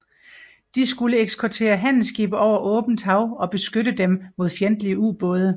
De skulle eskortere handelsskibe over åbent hav og beskytte dem mod fjendtlige ubåde